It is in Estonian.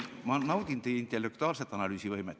Ma naudin teie intellektuaalset analüüsivõimet.